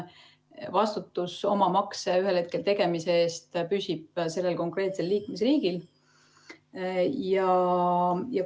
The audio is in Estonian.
Vastutus oma makse ühel hetkel tegemise eest püsib sellel konkreetsel liikmesriigil.